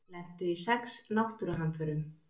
Lentu í sex náttúruhamförum